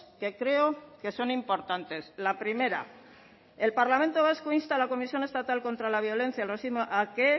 que creo que son importantes la primera el parlamento vasco insta a la comisión estatal contra la violencia y el racismo a que